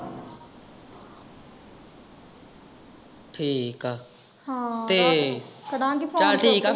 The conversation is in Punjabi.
ਠੀਕ ਆ ਤੇ ਚਾਲ ਠੀਕ ਆ ਫੇਰ।